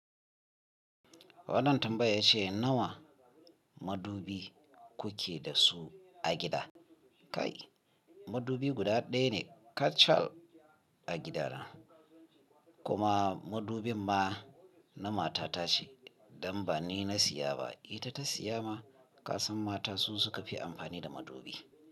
Wannan tambaya yace nawa madubi kuke da su a gida? Kai madubi guda ɗaya ne kacal a gida na. Kuma madubin ma na mata ta ce don ba ni na siya ba, ita ta siya ma. Ka san mata su suka fi amfani da madubi.